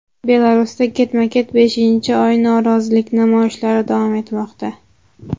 Belarusda ketma-ket beshinchi oy norozilik namoyishlari davom etmoqda.